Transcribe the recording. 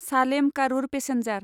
Salem Karur passenger